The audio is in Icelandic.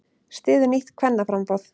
Styður nýtt kvennaframboð